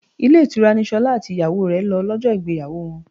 Ilé ìtura ni Ṣolá àti ìyàwó rẹ lọ lọ́jọ́ ìgbéyàwó wọn.